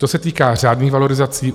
To se týká řádných valorizací.